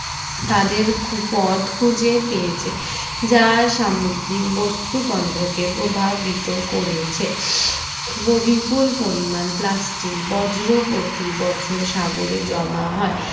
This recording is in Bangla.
তাদের খু পথ খুঁজে পেয়েছে যার সামুদ্রিক বস্তু তন্ত্র কে প্রভাবিত করেছে ও বিপুল পরিমাণ plastic বজ্র প্রতিবছর সাগরে জমা হয়